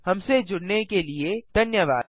हमसे जुड़ने के लिए धन्यवाद